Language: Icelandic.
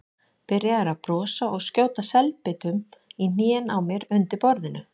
Byrjaður að brosa og skjóta selbitum í hnén á mér undir borðinu.